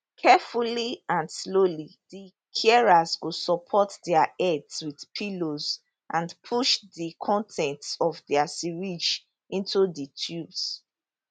carefully and slowly di carers go support dia heads wit pillows and push di con ten ts of dia syringes into di tubes